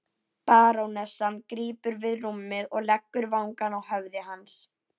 Barónessan krýpur við rúmið og leggur vangann að höfði hans.